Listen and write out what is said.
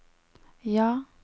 ja